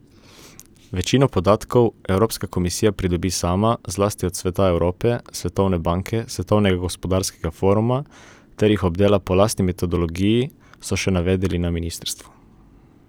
Večino podatkov Evropska komisija pridobi sama, zlasti od Sveta Evrope, Svetovne banke, Svetovnega gospodarskega foruma ter jih obdela po lastni metodologiji, so še navedli na ministrstvu.